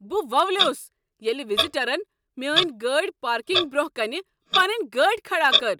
بہ وولیوس ییٚلہ وزیٹرن میانہ گٲڑۍ پارکنگہِ برٛونٛہہ کنہ پنٕنۍ گاڑۍ کھڑا کٔر۔